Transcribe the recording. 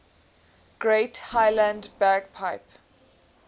great highland bagpipe